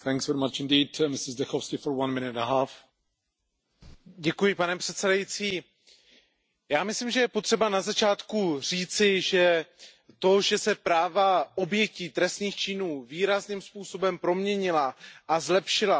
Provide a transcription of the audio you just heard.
Pane předsedající, já myslím, že je potřeba na začátku říci, že to, že se práva obětí trestných činů výrazným způsobem proměnila, zlepšila a zesílila, je i zásluhou Evropské unie.